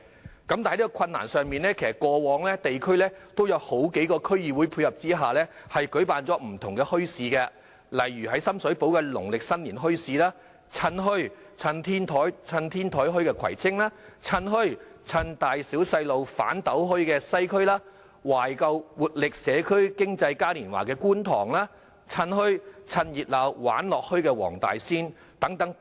不過，即使非常困難，過往在數個區議會的配合下，亦曾舉辦了不同類型的墟市，例如深水埗的農曆新年墟市、葵青的"趁墟.趁天台墟"、西區的"趁墟.趁大小細路'反'斗墟"、觀塘的"懷舊 x 活力社區經濟嘉年華"、黃大仙的"趁墟.趁熱鬧玩樂墟"等。